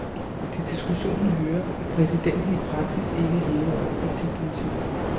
Til diskussionen hører, at præsidenten i praksis ikke er hævet over partipolitik.